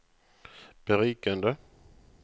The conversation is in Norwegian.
berikende